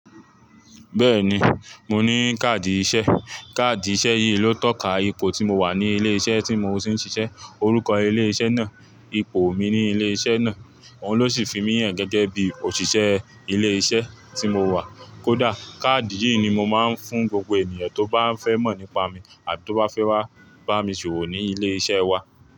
Bẹ́ẹ̀ni, mo ní káàdì iṣẹ́. Kaadi iṣẹ yii ló tọka ipò tí mo wa ni ilẹ iṣẹ ti mo ti n ṣiṣe, orukọ ile iṣẹ naa, ipò mi ni ile iṣẹ náà. Òun ló ṣì fi mí hàn gẹ́gẹ́ bí òṣìṣẹ́ ilé iṣẹ́ tí mo wà. Kódà, káàdì yìí ni mo máa ń fún gbogbo ènìyàn tó bá fẹ́ mọ̀ nípa mi àbi tó ba fẹ́ wá bá mi ṣòwò ní ilé iṣẹ́ wa.